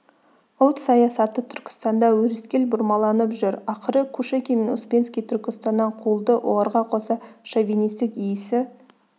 ұлт саясаты түркістанда өрескел бұрмаланып жүр ақыры кушекин мен успенский түркістаннан қуылды оларға қоса шовинистік иісі